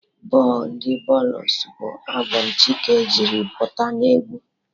Boo ndị booles bụ albọm Chike jiri pụta n'egwu